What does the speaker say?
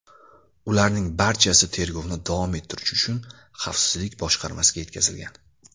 Ularning barchasi tergovni davom ettirish uchun Xavfsizlik boshqarmasiga yetkazilgan.